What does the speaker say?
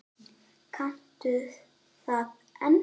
Kanntu það ennþá?